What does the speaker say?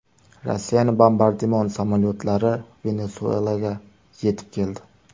Rossiyaning bombardimon samolyotlari Venesuelaga yetib keldi.